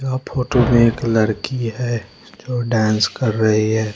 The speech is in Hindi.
यह फोटो में एक लड़की है जो डांस कर रही हैं।